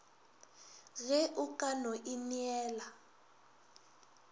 ge o ka mo inela